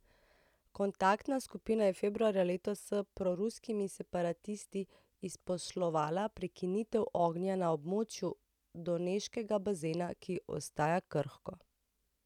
Kontaktna skupina je februarja letos s proruskimi separatisti izposlovala prekinitev ognja na območju Doneškega bazena, ki ostaja krhko.